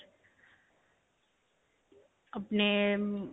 ਅਪਨੇ ਮਮ.